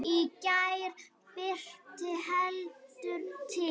Í gær birti heldur til.